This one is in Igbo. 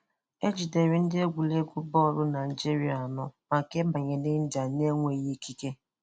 A jidere ndị egwuregwu bọọlụ Nigeria anọ maka ịbanye n’India n’enweghị ikike.